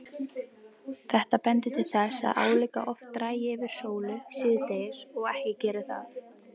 Þetta bendir til þess að álíka oft dragi fyrir sólu síðdegis og ekki geri það.